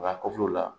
Nka kɔfɛw la